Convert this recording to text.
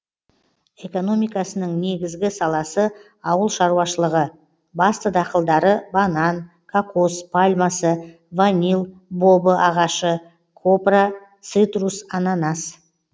экономикасының негізгі саласы ауыл шаруашылығы басты дақылдары банан кокос пальмасы ванил бобы ағашы копра цитрус ананас